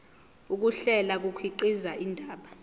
ukuhlela kukhiqiza indaba